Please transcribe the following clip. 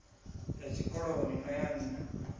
ya tshikoloni na ya nna